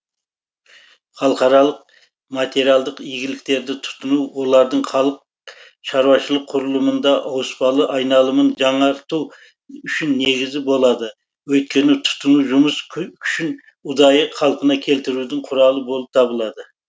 халықаралық материалдық игіліктерді тұтыну олардың халық шаруашылық құрылымында ауыспалы айналымын жаңарту үшін негізі болады өйткені тұтыну жұмыс күшін ұдайы қалпына келтірудің құралы болып табылады